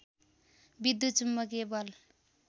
विद्युत चुम्बकीय बल